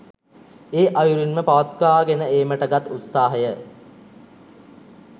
ඒ අයුරින්ම පවත්වා ගෙන ඒමට ගත් උත්සාහය